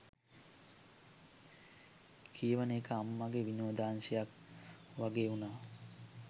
කියවන එක අම්මගෙ විනෝදාංශයක් වගේ වුණා